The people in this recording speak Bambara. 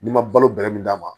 N'i ma balo bɛrɛ min d'a ma